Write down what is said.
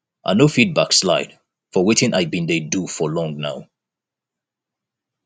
i no fit backslide for wetin i been dey do for long now